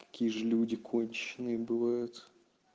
какие же люди конченые бывают